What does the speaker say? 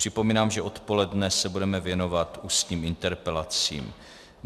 Připomínám, že odpoledne se budeme věnovat ústním interpelacím.